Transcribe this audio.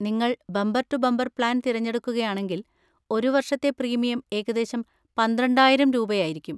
നിങ്ങൾ bumper to bumper plan തിരഞ്ഞെടുക്കുകയാണെങ്കിൽ, ഒരു വർഷത്തെ പ്രീമിയം ഏകദേശം പന്ത്രണ്ടായിരം രൂപയായിരിക്കും.